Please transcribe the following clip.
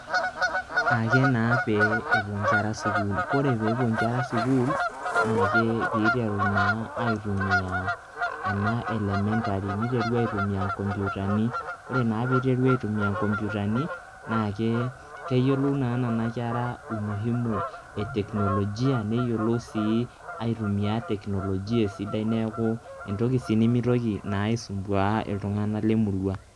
Ake naa pee epuo nkera sukuul, kore peepuo nkera sukuul naake piiteru naa aitumia ena elementary, niteru aitumia nkomputani. Ore naa piiteru aitumia nkomputani, naake keyolou naa nena kera umuhimu e teknolojia, neyolou sii aitumia teknolojia esidai neeku entoki sii nemitoki aisumbua iltung'anak le murua.